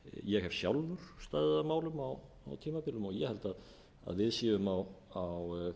ég hef sjálfur staðið að málum á tímabilum og ég held að við séum á